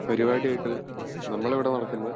പരുപാടി ആയിറ്റി നമ്മൾ ഇവിടെ നടക്കുന്നത്